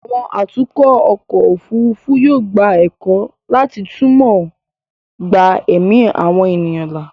àwọn atukọ̀ ọkọ̀ òfurufú yóò gba ẹ̀kọ́ láti túmọ̀ gba ẹ̀mí àwọn ènìyàn là